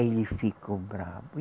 Ele ficou bravo.